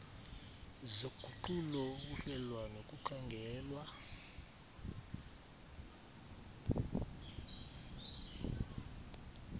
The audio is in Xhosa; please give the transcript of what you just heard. zoguqulo ukuhlelwa nokukhangelwa